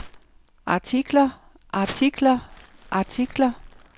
artikler artikler artikler